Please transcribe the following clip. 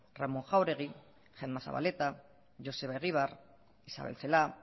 ramón jauregui gemma zabaleta joseba egibar isabel celaá